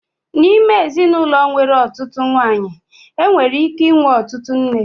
N'ime ezinụlọ nwere ọtụtụ nwanyị, enwere ike ịnwe ọtụtụ nne.